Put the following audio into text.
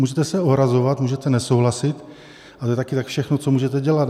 Můžete se ohrazovat, můžete nesouhlasit, ale to je také tak všechno, co můžete dělat.